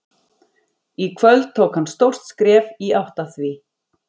Í kvöld tók hann stórt skref í átt að því.